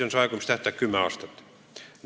Aegumistähtaeg on kümme aastat.